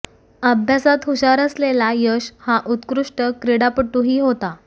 अभ्यासात हुषार असलेला यश हा उत्कृष्ट क्रीडापटूही होता